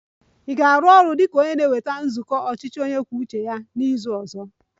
Ị ga-arụ ọrụ dị ka onye na-eweta nzukọ ọchịchị onye kwuo uche ya n'izu ọzọ?